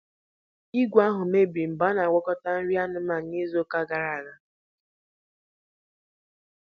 Igwe ahụ mebiri mgbe a na-agwakọta nri anụmanụ n'izu ụka gara aga.